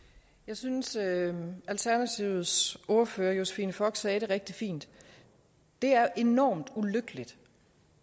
jeg synes at alternativets ordfører fru josephine fock sagde det rigtig fint det er enormt ulykkeligt